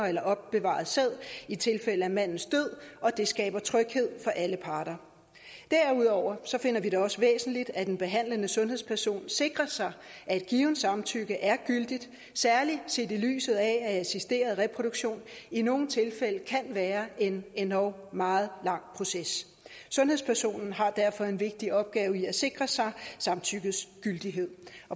eller opbevaret sæd i tilfælde af mandens død at det skaber tryghed for alle parter derudover finder vi det også væsentligt at den behandlende sundhedsperson sikrer sig at et givet samtykke er gyldigt særlig set i lyset af at assisteret reproduktion i nogle tilfælde kan være en endog meget lang proces sundhedspersonen har derfor en vigtig opgave i at sikre sig samtykkets gyldighed